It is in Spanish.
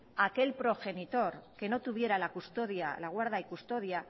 a aquel progenitor que no tuviera la custodia la guarda y custodia